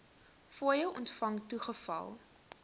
fooie ontvang toegeval